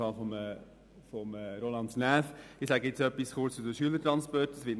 Ich sage im Folgenden kurz etwas zu den Schülertransporten.